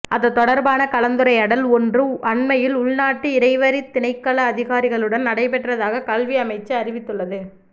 அது தொடர்பான கலந்துரையாடல் ஒன்று அண்மையில் உள்நாட்டு இறைவரித் திணைக்கள அதிகாரிகளுடன் நடைபெற்றதாக கல்வி அமைச்சு அறிவித்துள்ளது